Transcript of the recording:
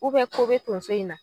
U bɛ ko bɛ tonso in na